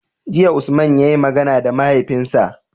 Jiya Usman yayi magana da mahaifinsa